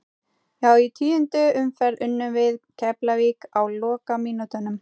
Já í tíundu umferð unnum við Keflavík á lokamínútunum.